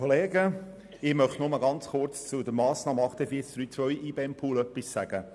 Ich möchte nur kurz zur Massnahme 48.3.2 beziehungsweise zum IBEM-Pool etwas sagen.